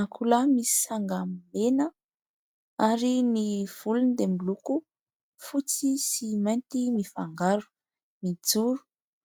Akoholahy misy sanga mena ary ny volony dia miloko fotsy sy mainty mifangaro, mijoro